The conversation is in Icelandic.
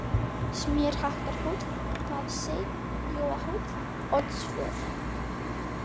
Smérhattarhóll, Vaðsey, Jóahóll, Oddsvör